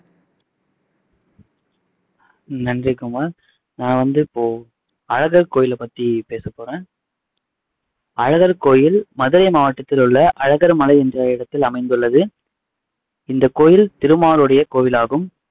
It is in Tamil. நன்றி குமார் நான் வந்து இப்போ அழகர் கோயிலை பத்தி பேச போறேன் அழகர் கோயில் மதுரை மாவட்டத்தில் உள்ள அழகர் மலை என்ற இடத்தில் அமைந்துள்ளது திருமால் கோவிலாகும்.